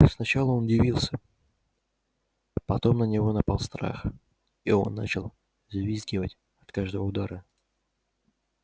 сначала он удивился потом на него напал страх и он начал взвизгивать от каждого удара